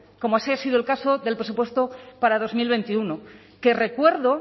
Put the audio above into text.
como así ha sido el caso del presupuesto para dos mil veintiuno que recuerdo